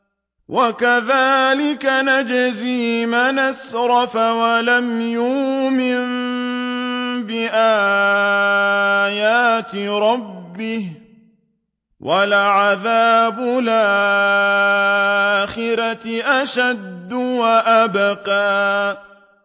وَكَذَٰلِكَ نَجْزِي مَنْ أَسْرَفَ وَلَمْ يُؤْمِن بِآيَاتِ رَبِّهِ ۚ وَلَعَذَابُ الْآخِرَةِ أَشَدُّ وَأَبْقَىٰ